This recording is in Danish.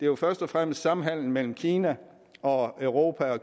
jo først og fremmest samhandelen mellem kina og europa